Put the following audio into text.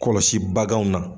Kɔlɔsi baganw na